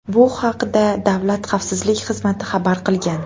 Bu haqda Davlat xavfsizlik xizmati xabar qilgan.